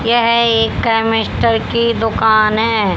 यह एक केमिस्टर की दुकान है।